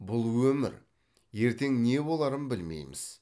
бұл өмір ертең не боларын білмейміз